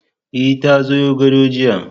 E, ta zoyo gado jiya